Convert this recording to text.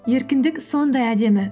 еркіндік сондай әдемі